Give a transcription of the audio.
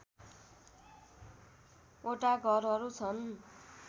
वटा घरहरू छन्